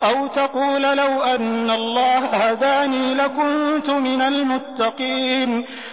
أَوْ تَقُولَ لَوْ أَنَّ اللَّهَ هَدَانِي لَكُنتُ مِنَ الْمُتَّقِينَ